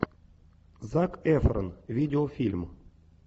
зак эфрон видеофильм